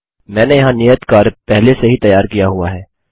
मैंने यहाँ नियत कार्य पहले से ही तैयार किया हुआ है